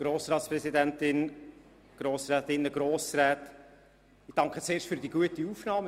Ich danke zuerst für die gute Aufnahme.